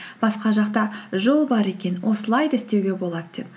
басқа жақта жол бар екен осылай да істеуге болады деп